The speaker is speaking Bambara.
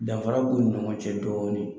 Danfara b'u ni ɲɔgɔn cɛ dɔɔnin.